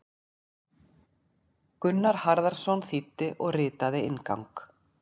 Gunnar Harðarson þýddi og ritaði inngang.